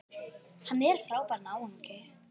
Hann er frábær náungi.